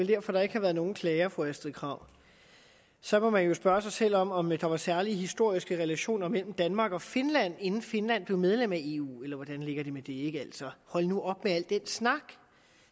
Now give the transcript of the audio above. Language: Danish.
derfor der ikke har været nogen klager fru astrid krag så må man jo spørge sig selv om om der var særlige historiske relationer mellem danmark og finland inden finland blev medlem af eu eller hvordan ligger det med det altså hold nu op med al den snak